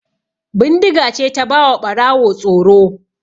Bindiga ce ta ba wa Ɓarawo tsoro.